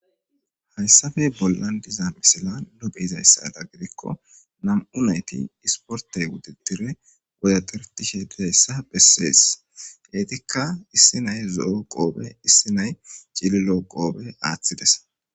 Hayissappe bollani diza misilisada nu beyizayisa gidikko namu'u nayiti issiporitte wududure wodadaretishe dizayissa beyashe bessesi ettika issi na'ayi zo'o qobbe issi na'ayi cililo qobe athidesi.